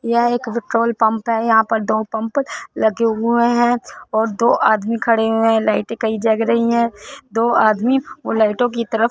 यहां एक petrol pump है। यहां पर दो पंप लगे हुए है और दो आदमी खडे हुए है। लाइटें कही जग रही है दो आदमी उन लाइटों की तरफ --